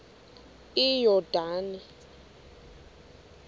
iyordane